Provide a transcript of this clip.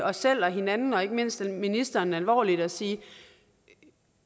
os selv hinanden og ikke mindst ministeren alvorligt og sige